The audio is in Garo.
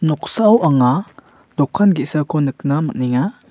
noksao anga dokan ge·sako nikna man·enga.